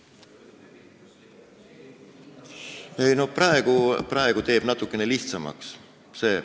Ei no see teeb praegu natukese lihtsamaks.